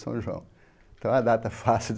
São João então é uma data fácil